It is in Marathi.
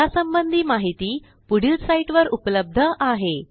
यासंबंधी माहिती पुढील साईटवर उपलब्ध आहे